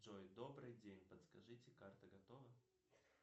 джой добрый день подскажите карта готова